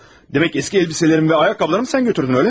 Demək köhnə paltarlarımı və ayaqqabılarımı sən götürdün, eləmi?